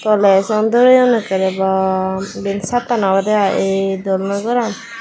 toley song doreyoun ekkrey bwaa eyan sadttan obodey aye dol noi goraan.